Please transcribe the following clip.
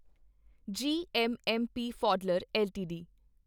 GMMP ਫੌਡਲਰ LTD